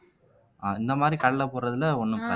அஹ் இந்த மாதிரி கடலை போடுறதுல ஒண்ணும்